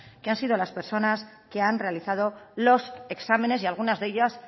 que han sido las personas que han realizado los exámenes y algunas de ellas